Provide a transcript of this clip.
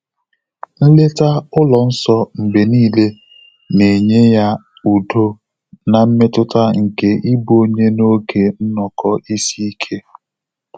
Nlèta Ụlọ nsọ mgbè níílé nà-ényé yá údo nà mmétụ́tà nké ị́bụ́ ọ́nyé n’ógè nnọ́kọ́ ísí íké.